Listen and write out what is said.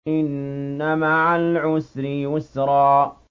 إِنَّ مَعَ الْعُسْرِ يُسْرًا